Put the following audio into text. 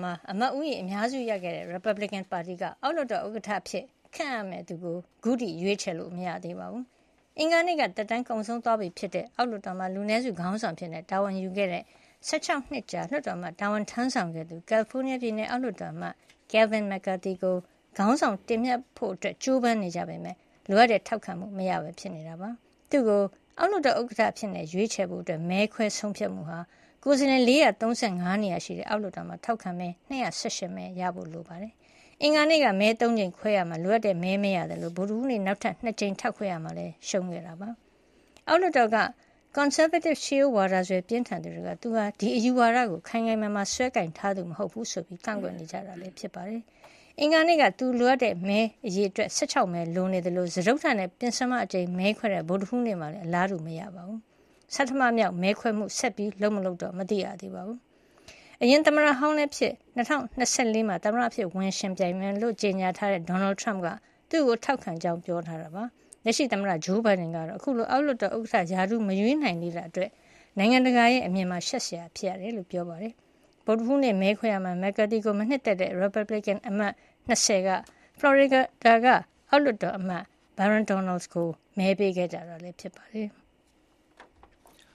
မှာ အမတ်ဦးရေ အများစုရခဲ့တဲ့ ရီပတ်ဘလစ်ကင်ပါတီက အောက်လွှတ်တော် ဥက္ကဌအဖြစ် ခန့်အပ်ရမယ့် သူကို အခုထိ ရွေးချယ်လို့ မရသေးပါဘူး။ အင်္ဂါနေ့က သက်တမ်းကုန်ဆုံးသွားပြီဖြစ်တဲ့ အောက်လွှတ်တော်မှာ လူနည်းစုခေါင်းဆောင်အဖြစ် တာဝန်ယူခဲ့တဲ့ ၁၆ နှစ်ကြာ လွှတ်တော်အမတ် တာဝန်ထမ်းဆောင်ခဲ့သူ ကယ်လီဖိုးနီးယားပြည်နယ် အောက်လွှတ်တော်အမတ် Kevin McCarthy ကို ခေါင်းဆောင်တင်မြှောက်ဖို့ ကြိုးပမ်းနေကြပေမဲ့ လိုအပ်တဲ့ ထောက်ခံမှု မရဘဲ ဖြစ်နေတာပါ။ သူ့ကို အောက်လွှတ်တော် ဥက္ကဌအဖြစ် ရွေးချယ်ဖို့ မဲခွဲဆုံးဖြတ်မှုဟာ ကိုယ်စားလှယ် ၄၃၅ နေရာရှိတဲ့ အောက်လွှတ်တော်မှာ ထောက်ခံမဲ ၂၁၈ မဲ ရရှိဖို့ လိုအပ်ပါတယ်။ အင်္ဂါနေ့က မဲ ၃ ကြိမ်ခွဲခဲ့ရာမှာ လိုအပ်တဲ့မဲ မရခဲ့သလို ဗုဒ္ဓဟူးနေ့ နောက်ထပ် ၂ ကြိမ်မဲခွဲရာမှာလည်း ရှုံးခဲ့တာ ဖြစ်ပါတယ်။ အောက်လွှတ်တော်က ကွန်ဆာဗေးတစ် ရှေးရိုးစွဲဝါဒပြင်းထန်သူ တွေက သူဟာ ဒီအယူဝါဒကို ခိုင်ခိုင်မာမာ စွဲကိုင်ထားသူမဟုတ် ဘူးဆိုပြီး ကန့်ကွက်နေကြတာ ဖြစ်ပါတယ်။ အင်္ဂါနေ့က သူလိုအပ်တဲ့ မဲအရေအတွက် ၁၆ မဲ လိုနေသလို စတုတ္ထနဲ့ ပဉ္စမအကြိမ် မဲခွဲခဲ့တဲ့ ဗုဒ္ဓဟူးနေ့မှာလည်း အလားတူမရဘဲ ဖြစ်နေတာပါ။ ဆဌမမြောက် မဲခွဲမှုကို ဆက်ပြုလုပ် မလုပ် ခုထိ မသိရသေးပါဘူး။ အရင်သမ္မတဟောင်းလည်းဖြစ် အခု ၂၀၂၄ မှာ သမ္မတအဖြစ် ဝင်ရောက်ယှဉ်ပြိုင်မယ်လို့ ကြေညာထားတဲ့ Donald Trump က သူ့ကို ထောက်ခံကြောင်း ပြောဆိုထားတာပါ။ လက်ရှိသမ္မတ Joe Biden ကတော့ အခုလို အောက်လွှတ်တော် ဥက္ကဌ ရာထူး မရွေးနိုင်သေးတာ အတွက် နိုင်ငံတကာ အမြင်မှာ ရှက်စရာ ဖြစ်ရကြောင်း ပြောပါတယ်။ ဗုဒ္ဓဟူးနေ့ မဲခွဲရာမှာ McCarthy ကို မနှစ်သက်တဲ့ ရီပတ်ဘလစ်ကင်အမတ် ၂၀ က ဖလော်ရီဒါ အောက်လွှတ်တော်အမတ် Byron Donalds ကို မဲပေးခဲ့ကြတာ ဖြစ်ပါတယ်။